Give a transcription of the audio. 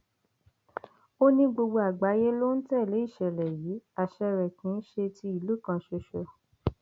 ó ní gbogbo àgbáyé ló ń tẹlé ìṣẹlẹ yìí àṣẹ rẹ kì í ṣe ti ìlú kan ṣoṣo